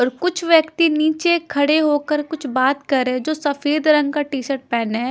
और कुछ व्यक्ति नीचे खड़े होकर कुछ बात कर रहे है जो सफेद रंग का टी शर्ट पहने है।